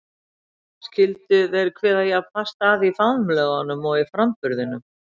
Skyldu þeir kveða jafn fast að í faðmlögunum og í framburðinum?